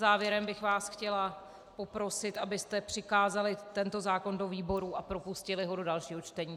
Závěrem bych vás chtěla poprosit, abyste přikázali tento zákon do výboru a propustili ho do dalšího čtení.